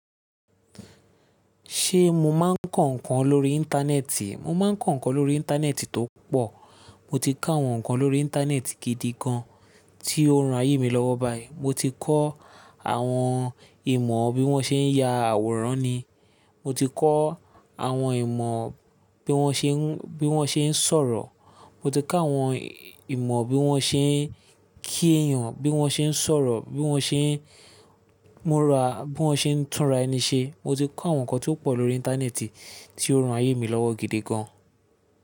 Ṣé mo máa ń kọ nǹkan lórí Íńtánẹ́ẹ̀tì? Mo máa ń kọ nǹkan lórí Íńtánẹ́ẹ̀tì tó pọ̀. Mo ti kọ àwọn nǹkan lórí Íńtánẹ́ẹ̀tì gidi gan tí ó ran ayé mi lọ́wọ́ baya. Mo ti kọ́ àwọn ìmọ̀ bí wọ́n ṣe ń ya àwòrán ni, mo ti kọ́ àwọn ìmọ̀ bí wọ́n ṣe ń, bí wọ́n ṣe ń sọ̀rọ̀, mo ti kọ́ àwọn ìmọ̀ bí wọ́n ṣe ń kí èèyàn, bí wọ́n ṣe ń sọ̀rọ̀, bí wọ́n ṣe ń múra, bí wọ́n ṣe ń túnra ẹni ṣe. Mo ti kọ́ àwọn nǹkan tí ó pọ̀ lórí Íńtánẹ́ẹ̀tì tí ó ran ayé mi lọ́wọ́ gidi gan.